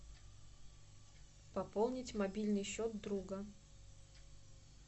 пополнить мобильный счет друга